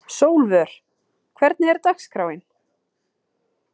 Sólvör, hvernig er dagskráin?